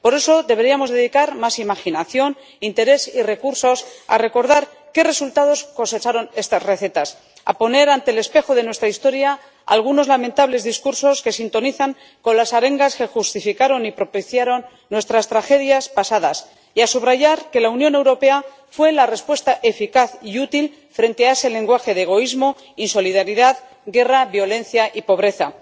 Por eso, deberíamos dedicar más imaginación, interés y recursos a recordar qué resultados cosecharon estas recetas, a poner ante el espejo de nuestra historia algunos lamentables discursos que sintonizan con las arengas que justificaron y propiciaron nuestras tragedias pasadas y a subrayar que la Unión Europea fue la respuesta eficaz y útil frente a ese lenguaje de egoísmo, insolidaridad, guerra, violencia y pobreza.